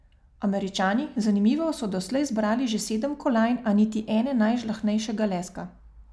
Američani, zanimivo, so doslej zbrali že sedem kolajn, a niti ene najžlahtnejšega leska.